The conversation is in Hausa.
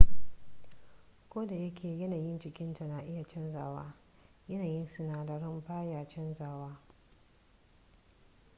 kodayake yanayin jikinta na iya canzawa yanayin sinadaran ba ya canja wa